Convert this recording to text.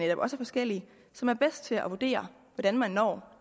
er forskellige som er bedst til at vurdere hvordan man når